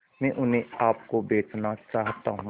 मैं उन्हें आप को बेचना चाहता हूं